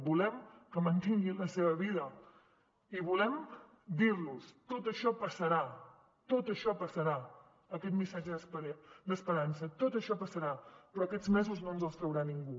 volem que mantingui la seva vida i volem dir los tot això passarà tot això passarà aquest missatge d’esperança tot això passarà però aquests mesos no ens els traurà ningú